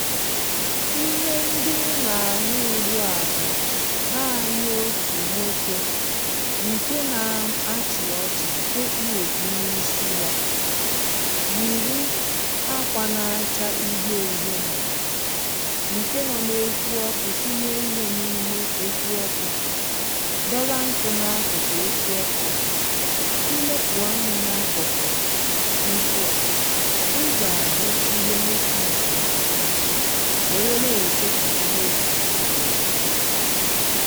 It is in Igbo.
ihe ndị i nà-àhụ ugbuà bụ̀ naanị otù nwokė ǹke na-achị̀ ọchị̀ ǹke kpụ òkpụ n’isi ya, yìri akwȧ na-acha uhie uhie n’àlà ǹke nọ n’ekwụ ọkụ sinye ihe n’ime ekwụ ọkụ, dọba nkụ̇ n’akụ̀kụ̀ ekwụ ọkụ à i lepù anya n’akụ̀kụ̀ nkụ à I ga ahụ ihe nwoke a sinyere nọkụ wère na-eche kà ihe osinyèrè ghe